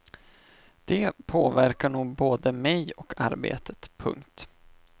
Det påverkar nog både mig och arbetet. punkt